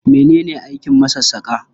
Mene ne aikin masassaƙa?